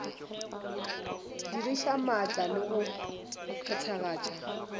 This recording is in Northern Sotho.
diriša maatla le go phethagatša